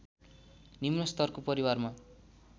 निम्न स्तरको परिवारमा